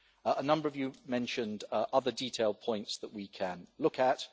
A number of you mentioned other detailed points that we can look at.